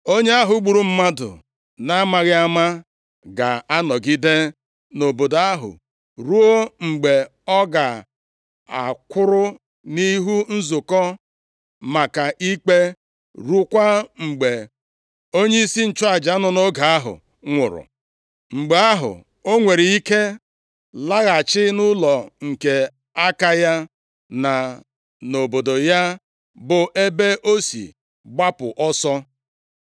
Onye ahụ gburu mmadụ na-amaghị ama ga-anọgide nʼobodo ahụ ruo mgbe ọ ga-akwụrụ nʼihu nzukọ maka ikpe ruokwa mgbe onyeisi nchụaja nọ nʼoge ahụ nwụrụ. Mgbe ahụ, o nwere ike laghachi nʼụlọ nke aka ya na nʼobodo ya bụ ebe o si gbapụ ọsọ.”